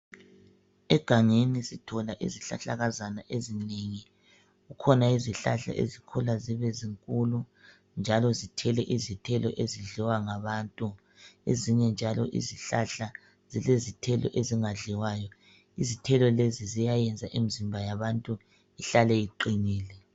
Egangeni sithola izihlahlakazana ezinengi. Kukhona izihlahla, ezikhula zibezinkulu! Njalo zithele izithelo ezidliwa ngabantu,. Ezinye njalo izihlahla zilezithelo ezingadliwayo. Izithelo lezi ziyayenza imizimba yabantu ihlale iqinile.